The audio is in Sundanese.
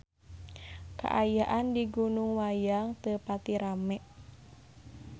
Kaayaan di Gunung Wayang teu pati rame